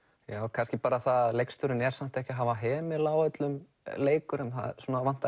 kannski bara það að leikstjórinn er samt ekki að hafa hemil á öllum leikurum það vantar